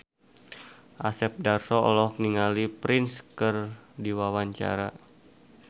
Asep Darso olohok ningali Prince keur diwawancara